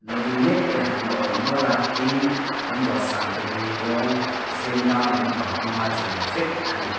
la ding mêkte an la awm nual a tin an dawhsan te hi rawng sen dang lampang cheimawi vek a ni.